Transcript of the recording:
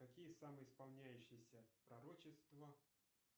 какие самые исполняющиеся пророчества